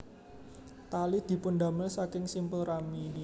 Tali dipundamel saking simpul rami